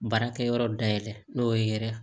Baarakɛyɔrɔ dayɛlɛ n'o ye yɛrɛ